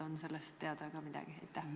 On sellest ka midagi teada?